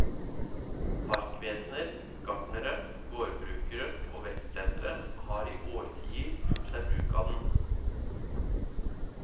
Parkvesener, gartnere, gårdbrukere og vekstsentre har i årtier gjort seg bruk av den.